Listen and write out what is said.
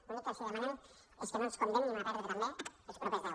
l’únic que els demanem és que no ens condemnin a perdre també els propers deu